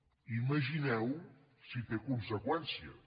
imagineu vos si té conseqüències